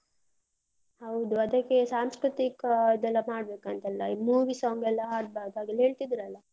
ಹೌದು ಅದಕ್ಕೆ ಸಾಂಸ್ಕೃತಿಕ ಅದೆಲ್ಲ ಮಾಡ್ಬೇಕಂತೆಲ್ಲ, movie song ಎಲ್ಲ ಹಾಡ್ಬಾರ್ದು ಹಾಗೆಲ್ಲ ಹೇಳ್ತಿದ್ರಲ್ಲ.